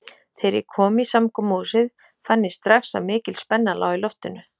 Þegar ég kom í samkomuhúsið fann ég strax að mikil spenna lá í loftinu.